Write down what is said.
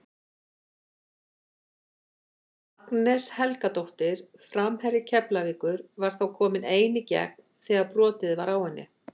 Agnes Helgadóttir framherji Keflavíkur var þá komin ein í gegn þegar brotið var á henni.